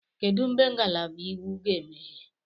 Kedu mgbe ngalaba Iwu ga-emeghe?